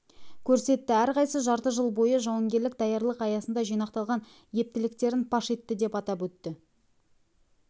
көрсетті әрқайсысы жарты жыл бойы жауынгерлік даярлық аясында жинақталған ептіліктерін паш етті деп атап өтті